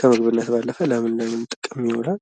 ከምግብነት ባለፈ ለምን ለምን ጥቅም ይውላል ?